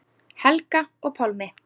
Helga og Pálmi.